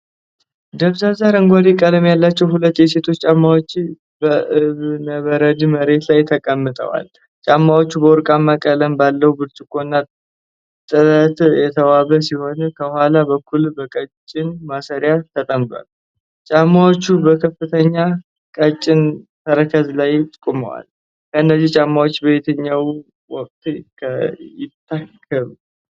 ደብዛዛ አረንጓዴ ቀለም ያላቸው ሁለት የሴቶች ጫማዎች በእብነበረድ መሬት ላይ ተቀምጠዋል። ጫማዎቹ በወርቃማ ቀለም ባለው ብርጭቆና ጥለት የተዋቡ ሲሆን፣ ከኋላ በኩል በቀጭን ማሰሪያ ተጠምደዋል። ጫማዎቹ በከፍተኛ ቀጭን ተረከዝ ላይ ቆመዋል; እነዚህ ጫማዎች በየትኛው ወቅት ይታከሉ?